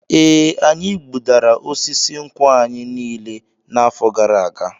E, anyị gbudara osisi nkwụ anyị niile n'afọ gara aga.